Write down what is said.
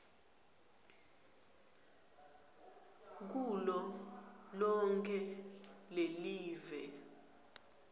kulo lonkhe lelive